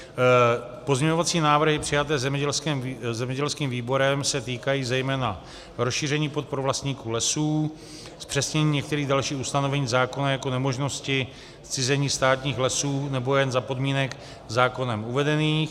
Pozměňovací návrhy přijaté zemědělským výborem se týkají zejména rozšíření podpor vlastníků lesů, zpřesnění některých dalších ustanovení zákona jako nemožnosti zcizení státních lesů nebo jen za podmínek zákonem uvedených.